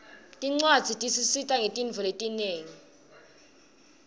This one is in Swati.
tincwadzi tisisita ngetintfo letinyenti